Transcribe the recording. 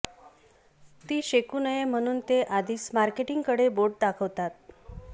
ती शेकू नये म्हणून ते आधीच मार्केटिंगकडे बोट दाखवतात